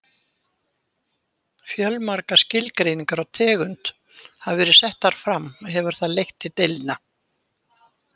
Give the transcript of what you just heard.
Fjölmargar skilgreiningar á tegund hafa verið settar fram og hefur það leitt til deilna.